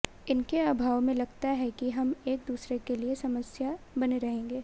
इनके अभाव में लगता है कि हम एक दूसरे के लिये समस्या बने रहेंगे